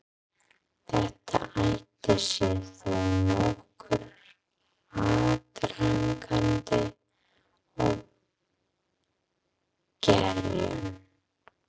Þetta átti sér þó nokkurn aðdraganda og gerjun.